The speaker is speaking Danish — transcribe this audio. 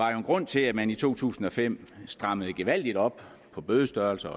grund til at man i to tusind og fem strammede gevaldigt op på bødestørrelser